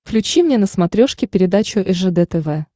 включи мне на смотрешке передачу ржд тв